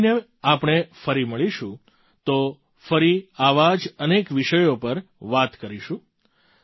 આગલા મહિને આપણે ફરી મળીશું તો ફરી આવા જ અનેક વિષયો પર વાત કરીશું